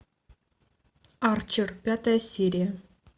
арчер пятая серия